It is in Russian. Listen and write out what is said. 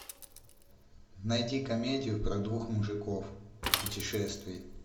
найди комедию про двух мужиков в путешествии